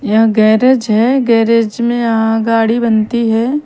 यहाँ गॅरेज है गॅरेज मे यहाँ गाड़ी बनती है।